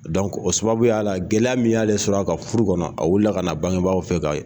o sababuya la, gɛlɛya min y'ale sɔrɔ a ka furu kɔnɔ , a wuli la ka n'a bangebaaw fɛ k'a